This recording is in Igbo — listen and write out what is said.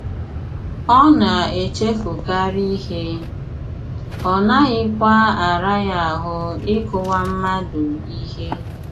Ọ na - echefukarị ihe, ọ naghịkwa ara ya ahụ́ ịkụwa mmadụ ihe.